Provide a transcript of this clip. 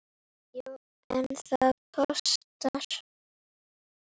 Já, en það kostar!